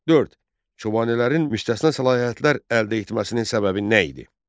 Dörd, Çobanələrin müstəsna səlahiyyətlər əldə etməsinin səbəbi nə idi?